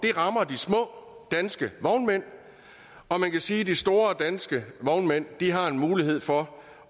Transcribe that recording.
rammer de små danske vognmænd og man kan sige at de store danske vognmænd har en mulighed for